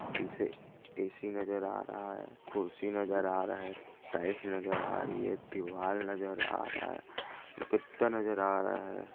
ऐसी A _C नजर आ रहा है कुर्सी नजर आ रहे है टाइल्स नजर आ रही है दीवार नजर आ रहा है कुत्ता नजर आ रहा है।